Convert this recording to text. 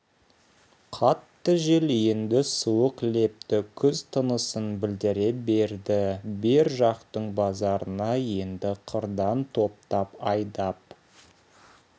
қатты жел енді суық лепті күз тынысын білдіре берді бер жақтың базарына енді қырдан топтап айдап